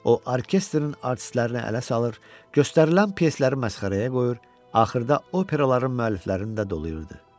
O orkestrin artistlərini ələ salır, göstərilən pyesləri məsxərəyə qoyur, axırda operaların müəlliflərini də dolayırdı.